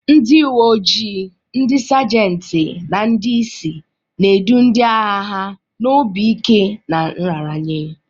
Ndị uwe ojii, ndị sejenti, na ndị isi na-edu ndị agha ha n'obi ike na nraranye.